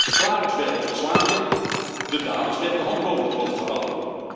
De klagers werden ontslagen, de daders werd de hand boven het hoofd gehouden.